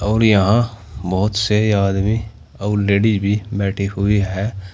और यहां बहोत से आदमी और लेडीज भी बैठी हुई हैं। --